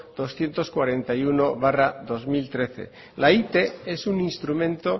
doscientos cuarenta y uno barra dos mil trece la ite es un instrumento